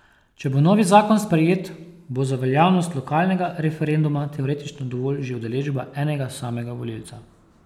Če bo novi zakon sprejet, bo za veljavnost lokalnega referenduma teoretično dovolj že udeležba enega samega volivca.